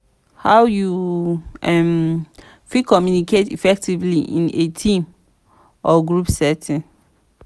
how you um fit communicate effectively in a team or group setting?